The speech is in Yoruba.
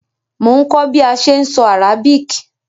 Mo n kó bi a se n so Arabic